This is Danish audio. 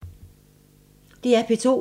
DR P2